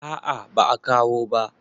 a a ba a kawo ba